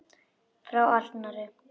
Frá Arnari!